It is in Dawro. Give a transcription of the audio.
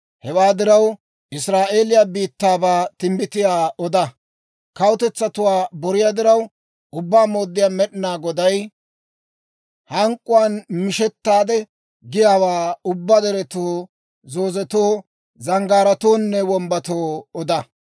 Hewaa diraw, Israa'eeliyaa biittaabaa timbbitiyaa oda. Kawutetsatuwaa boriyaa diraw, Ubbaa Mooddiyaa Med'inaa Goday hank'k'uwaan mishettaade giyaawaa ubbaa deretoo zoozetoo, zanggaaratoonne wombbatoo oda.